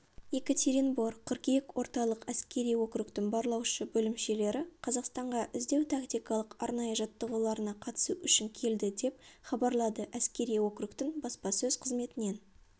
екатеринбор қыркүйек орталық әскери округтің барлаушы бөлімшелері қазақстанға іздеу тактикалық арнайы жаттығуларына қатысу үшін келді деп хабарлады әскери округтің баспасөз қызметінен